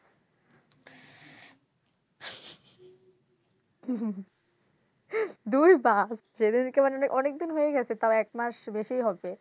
দূর সেদিনকে তো অনেক দিন হয়ে গেছে তাও এক মাস বেশি হবে